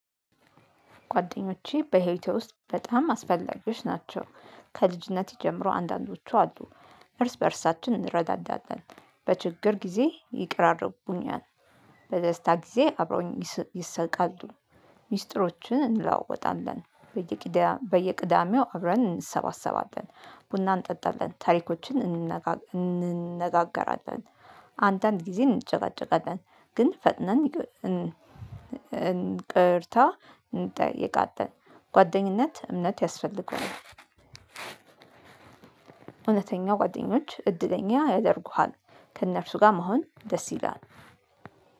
ጓደኞቼ በህይወቴ ውስጥ በጣም አስፈላጊዎች ናቸው። ከልጅነት ጀምሮ አንዳንዶቹ አሉ። እርስ በእርሳችን እንረዳዳለን በችግር ጊዜ ይቅራርቡኛል። በደስታ ጊዜ አብረውኝ ይስቃሉ። ሚስጥሮችን እንለዋወጣለን በየቂዳ በየቅዳሜው አብረን እንሰባሰባለን። ቡና እንጠጣለን ታሪኮችን እንነጋገ እንነጋገራለን። አንዳንድ ጊዜ እንጨቃጨቃለን ግን ፈጥነን እንቅርታ እንጠያየቃለን። ጓደኝነት እምነት ያስፈልገዋል። እውነተኛው ጓደኞች እድለኛ ያደርጉሃል። ከእነርሱ ጋር መሆን ደስ ይላል።